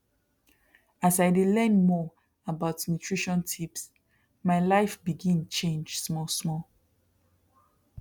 as i dey learn more about nutrition tips my life begin change small small